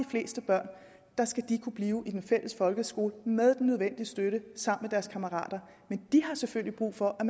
fleste børn skal kunne blive i den fælles folkeskole med den nødvendige støtte sammen med deres kammerater men de har selvfølgelig brug for at